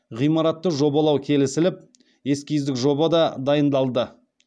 ғимаратты жобалау келісіліп эскиздік жоба да дайындалды